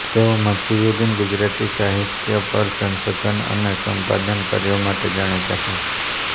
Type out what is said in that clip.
તેઓ મધ્યયુગીન ગુજરાતી સાહિત્ય પરના સંશોધન અને સંપાદન કાર્યો માટે જાણીતા છે